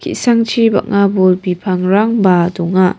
ki·sangchi bang·a bol bipangrangba donga.